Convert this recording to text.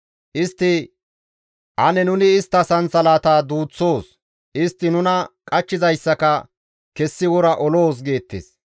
Istti, «Ane nuni istta sansalataa duuththoos; istti nuna qachchizayssaka kessi wora oloos» geettes.